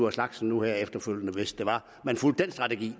af slagsen nu her efterfølgende hvis det var man fulgte den strategi